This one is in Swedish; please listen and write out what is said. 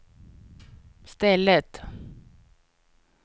stället